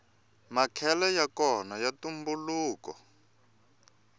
makhele yakona ya ntumbuluko